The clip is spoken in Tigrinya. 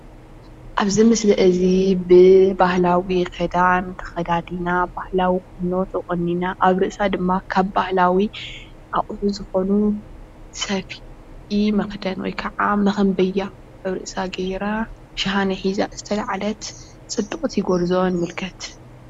ኣብዚ ምስሊ እዚ ብባህላዊ ክዳን ተኸዳዲና ባህላዊ ቁኖ ተቖኒና ኣብ ርእሳ ድማ ካብ ባህላዊ ኣቑሑ ዝኾኑ ሰፍኢ መኽደን ወይ ድማ ሞኾምቢያ ኣብ ርእሳ ጌራ ሻሃነ ሒዛ ዝተልዓለት ፅብቕቲ ጎርዞ ንምልከት፡፡